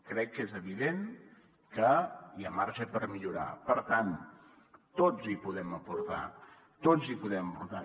crec que és evident que hi ha marge per millorar per tant tots hi podem aportar tots hi podem aportar